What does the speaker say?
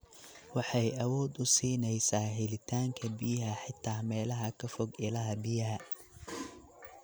Waxay awood u siinaysaa helitaanka biyaha xitaa meelaha ka fog ilaha biyaha.